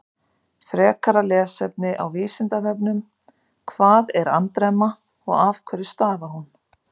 Frekara lesefni á Vísindavefnum: Hvað er andremma og af hverju stafar hún?